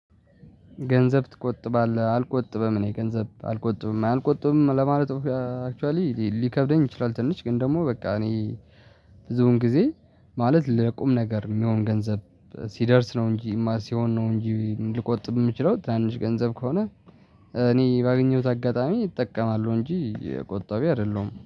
ገንዘብ ትቆጥባለህ? አልቆጥበም እኔ ገንዘብ አልቆጥብም አልቆጥብም ለማለት አክቿሊ ሊከብደኝ ይችላል። ትንሽ ግን ደግሞ በቃ እኔ ብዙውን ጊዜ ማለት ለቁም ነገር የሚሆን ገንዘብ ሲደርስ ነው እንጂ ማር ሲሆን ነው እንጂ ልቆጥም የምችለው ታንሽ ገንዘብ ከሆነ። እኔ ባገኘሁት አጋጣሚ ይጠቀማሉ እንጂ የቆጣቢ አይደለሁም